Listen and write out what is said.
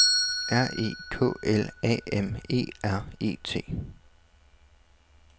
R E K L A M E R E T